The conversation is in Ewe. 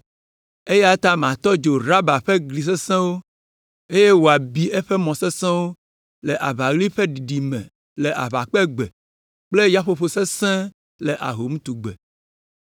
Eya ta matɔ dzo Raba ƒe gli sesẽwo, eye wòabi eƒe mɔwo le aʋaɣli ƒe ɖiɖi me le aʋakpegbe kple yaƒoƒo sesẽ le ahomtugbe.